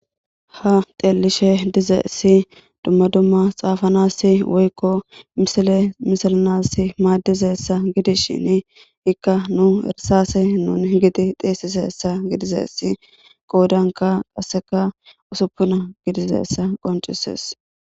Ha teelishe dizeesi dumma dumma xaafanasi woykko sale misalanas maaddizessa gidishin ikka nu irsase nun gidi xeesisessa gidizeesi qoodanka qasseka usuppuna gidizessa qoncises.